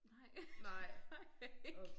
Nej det har jeg ikke